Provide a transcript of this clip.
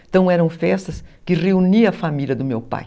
Então eram festas que reuniam a família do meu pai.